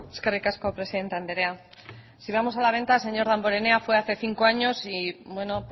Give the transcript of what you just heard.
eskerrik asko presidente andrea si vamos a la venta señor damborenea fue hace cinco años y bueno